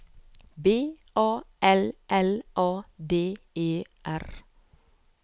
B A L L A D E R